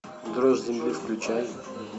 дрожь земли включай